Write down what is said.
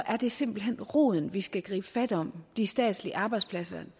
er det simpelt hen roden vi skal gribe fat om de statslige arbejdspladser